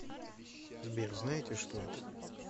сбер знаете что это